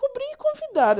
Cobrir e convidados.